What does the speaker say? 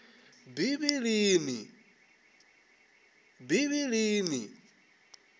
bivhilini